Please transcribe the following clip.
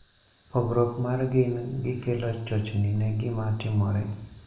Pogruok mar gin gi kelo chochni ne gima timore.